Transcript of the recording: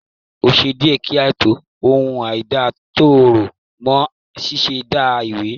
O ṣé díẹ̀ kí a tó mọ ohun àìda tó rọ̀ mọ́ ṣíṣẹ̀da ìwé